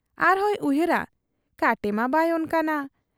ᱟᱨᱦᱚᱸᱭ ᱩᱭᱦᱟᱹᱨᱟ ᱠᱟᱴᱮᱢᱟ ᱵᱟᱭ ᱚᱱᱠᱟᱱᱟ ᱾